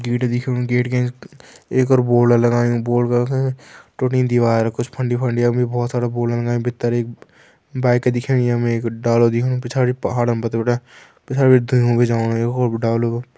गेट दिखेणु गेट का एंच एक और बोर्ड लगायुं बोर्ड का टूटी दिवार कुछ फंडी-फंडी यमु बहोत सारा बोर्ड लगायां भीतर एक बाइक दिखेणी यमु एक डालु दिखेणु पिछाड़ी पहाड़म बड़ा-बड़ा पिछाड़ी बिटि भी जाणु यख ऊब डालु का।